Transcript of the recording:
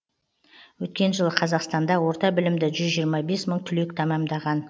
өткен жылы қазақстанда орта білімді жүз жиырма бес мың түлек тәмәмдаған